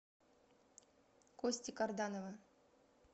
кости карданова